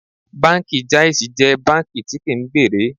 Báńkì Jáísí jẹ́ báńkì tí kí ń gbèrè.